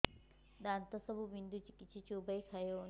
ଦାନ୍ତ ସବୁ ବିନ୍ଧୁଛି କିଛି ଚୋବେଇ ଖାଇ ହଉନି